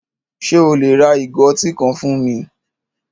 Ṣe o le ra igò ọ̀tí kan fún mi?